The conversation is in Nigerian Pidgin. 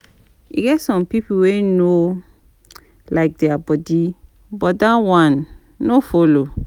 E get some pipo wey no like dia body but that one no follow.